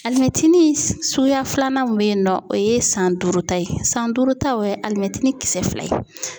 Alimɛtinin suguya filanan min bɛ yen nɔ o ye san duuru ta ye san duuru ta o ye alimɛtinin kisɛ fila ye.